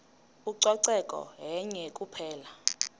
ucoceko yenye kuphela